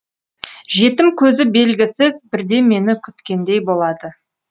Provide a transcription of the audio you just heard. жетім көзі белгісіз бірдемені күткендей болады